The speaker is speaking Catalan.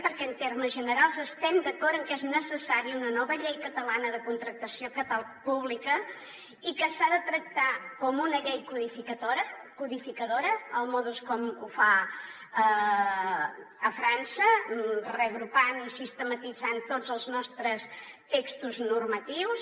perquè en termes generals estem d’acord en que és necessària una nova llei catalana de contractació pública i que s’ha de tractar com una llei codificadora com ho fa frança reagrupant i sistematitzat tots els nostres textos normatius